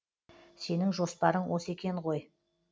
сенің жоспарын осы екен ғой